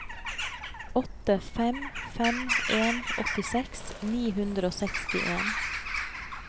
åtte fem fem en åttiseks ni hundre og sekstien